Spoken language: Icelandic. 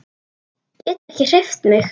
Get ekki hreyft mig.